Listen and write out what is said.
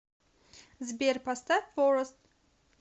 сбер поставь форэст